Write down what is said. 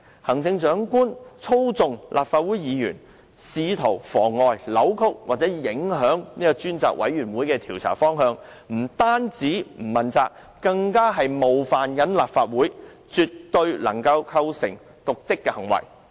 行政長官操縱立法會議員，試圖妨礙、扭曲或影響專責委員會的調查方向，不單是不問責，更是冒犯了立法會，絕對能夠構成瀆職行為。